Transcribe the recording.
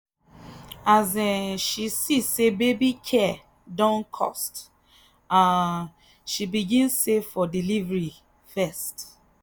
as um she see say baby care don cost um she begin save for delivery first.